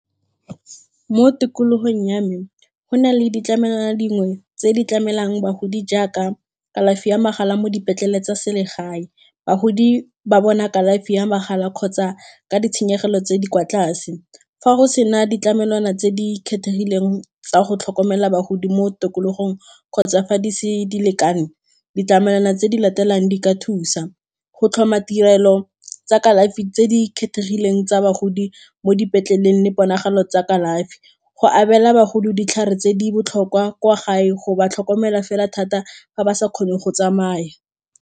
Mo tikologong ya me go na le ditlamelwana dingwe tse di tlamelang bagodi jaaka kalafi ya magala mo dipetlele tsa selegae, bagodi ba bona kalafi ya magala kgotsa ka ditshenyegelo tse di kwa tlase, fa go sena ditlamelwana tse di kgethegileng tsa go tlhokomela bagodi mo tikologong kgotsa fa dise di lekane, ditlamelwana tse di latelang di ka thusa, go tlhoma tirelo tsa kalafi tse di kgethegileng tsa bagodi mo dipetleleng le ponagalo tsa kalafi go abela bagodi ditlhare tse di botlhokwa kwa gae go ba tlhokomela fela thata ga ba sa kgone go tsamaya.